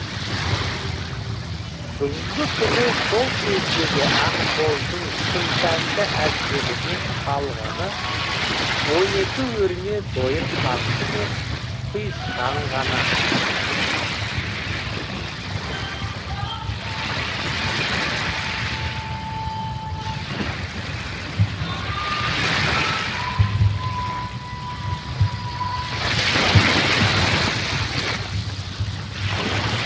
бүгінгі күні сол кездегі ақбоздың күмсәнді әбзелінен қалғаны он екі өрме дойыр қамшы мен құйысқан ғана